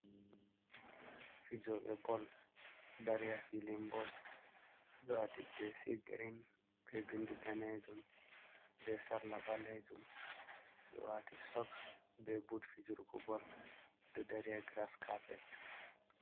Fijooɓe bol, ɗo dari haa fiilin bol, ɓe ɗo waati jeesi girin, be binndi daneejum, be sarla ɓaleejum, ɓe ɗo waati soks, be but fijurgo bol, ɓe ɗo dari haa giras kapet.